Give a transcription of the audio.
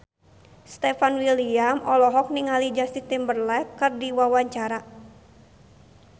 Stefan William olohok ningali Justin Timberlake keur diwawancara